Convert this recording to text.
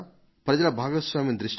ప్రజల భాగస్వామ్యం దృష్ట్యా